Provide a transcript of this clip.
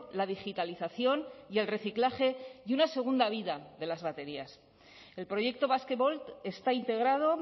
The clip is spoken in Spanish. la digitalización y el reciclaje y una segunda vida de las baterías el proyecto basquevolt está integrado